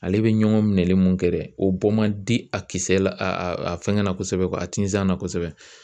Ale bI ɲɔgɔn minɛli mun kɛ dɛ o bɔ man di a kisɛ la a fɛngɛ la kosɛbɛ a tinzan na kosɛbɛ.